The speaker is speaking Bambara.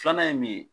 Filanan ye min ye